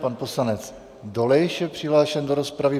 Pan poslanec Dolejš je přihlášen do rozpravy.